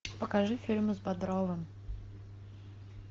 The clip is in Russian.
покажи фильмы с бодровым